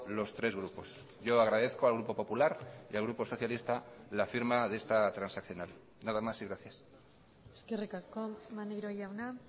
los tres grupos yo agradezco al grupo popular y al grupo socialista la firma de esta transaccional nada más y gracias eskerrik asko maneiro jauna